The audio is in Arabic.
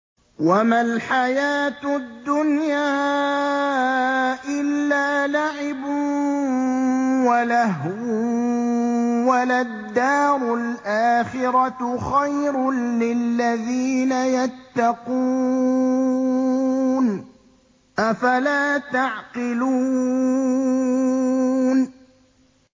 وَمَا الْحَيَاةُ الدُّنْيَا إِلَّا لَعِبٌ وَلَهْوٌ ۖ وَلَلدَّارُ الْآخِرَةُ خَيْرٌ لِّلَّذِينَ يَتَّقُونَ ۗ أَفَلَا تَعْقِلُونَ